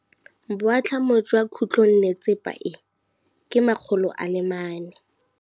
Boatlhamô jwa khutlonnetsepa e, ke 400.